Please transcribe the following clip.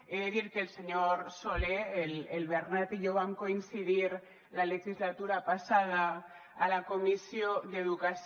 he de dir que el senyor solé el bernat i jo vam coincidir la legislatura passada a la comissió d’educació